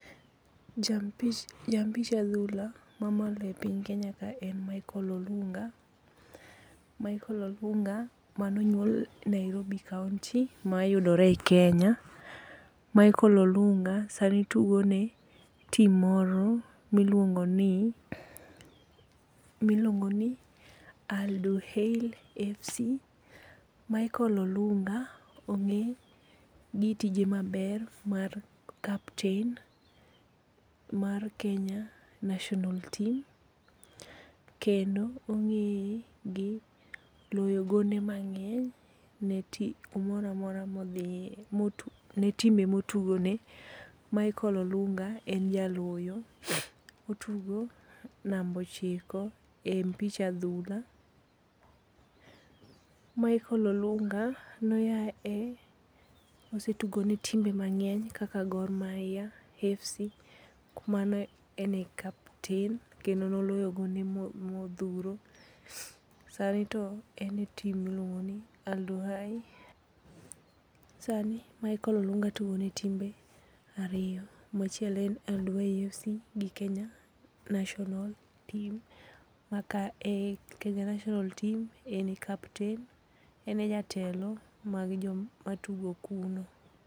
Jampi ja mpich adhula mamalo e piny Kenya ka en Michael Olunga. Michael Olunga manonyuol Nairobi kaonti mayudore e Kenya. Michael Olunga sani tugo ne tim moro miluongo ni, miluongo ni Aldohel FC. Michael Olunga ong'e gi itji maber mar kapten mar Kenya National Team. Kendo ong'eye gi loyo gonde mang'eny ne ti kumoro amora modhiye ne timbe motugo ne. Michael Olunga en jaloyo. Otugo namba ochiko e mpich adhula. Michael Olunga noae osetugo ne timbe mang'eny kaka Gor Mahia FC, mano ne ene kapten kendo noloyo gonde modhuro. Sani to en e tim miluongo ni Aldohai. Sani Michael Olunga tugo ne timbe ariyo ma achiel en Aldohai FC to gi Kenya National Team, ma ka Kenya National Team en e kapten. En e jatelo mag joma tugo kuno.